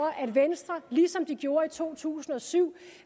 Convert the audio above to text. at venstre ligesom de gjorde i to tusind og syv